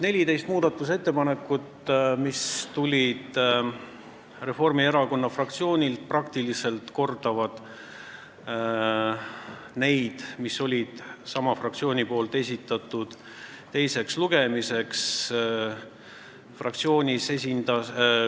14 muudatusettepanekut, mis tulid Reformierakonna fraktsioonilt, praktiliselt kordavad neid, mille esitas sama fraktsioon teiseks lugemiseks.